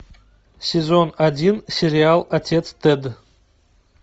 сезон один сериал отец тед